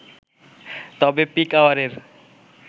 তবে পিক আওয়ারের